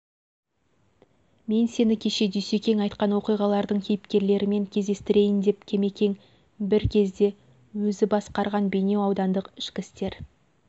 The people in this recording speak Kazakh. мен сені кеше дүйсекең айтқан оқиғалардың кейіпкерлерімен кездестірейін деп кемекең бір кезде өзі басқарған бейнеу аудандық ішкі істер